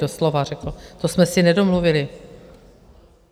Doslova řekl, to jsme si nedomluvili.